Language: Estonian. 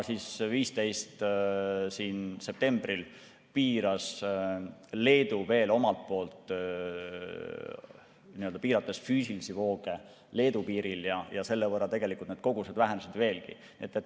15. septembril piiras Leedu veel omalt poolt nii-öelda füüsilisi vooge Leedu piiril ja selle võrra tegelikult need kogused vähenesid veelgi.